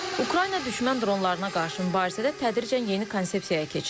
Ukrayna düşmən dronlarına qarşı mübarizədə tədricən yeni konsepsiyaya keçir.